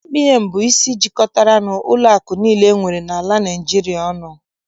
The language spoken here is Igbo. CBN bụ isi jikọtara ụlọakụ niile enwere n'ala Naịjirịa ọnụ.